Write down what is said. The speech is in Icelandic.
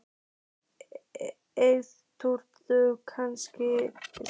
Eyþrúður, kanntu að spila lagið „Bústaðir“?